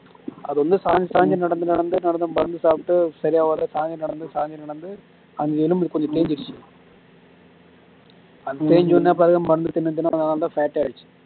அது வந்து சாஞ்சி சாஞ்சி நடந்து நடந்து நடந்து மருந்து சாப்பிட்டு சரியாவரல சாஞ்சி நடந்து சாஞ்சி நடந்து அந்த எலும்பு கொஞ்சம் தேஞ்சிடிச்சு தேஞ்சோன்னையும் பிறகு மருந்து திண்ணு திண்ணு அதனால fat ஆகிடுச்சு